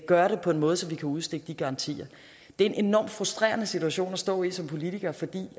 gøre det på en måde så vi kan udstikke de garantier det er en enormt frustrerende situation at stå i som politiker fordi